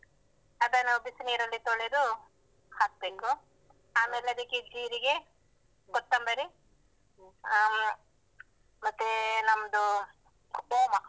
ಅದನ್ನು ಬಿಸಿ ನೀರಲ್ಲಿ ತೊಳೆದು ಹಾಕ್ಬೇಕು ಆಮೇಲೆ ಅದಕ್ಕೆ ಜೀರಿಗೆ, ಕೊತ್ತಂಬರಿ ಅಹ್ ಮತ್ತೆ ನಮ್ದು ಓಮ.